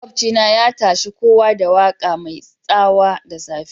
Makobci na ya tashe kowa da waka mai tsawa dasafe.